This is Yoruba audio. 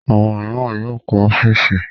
Àwọn mìíràn yóò kọ́ ọ́fíísì.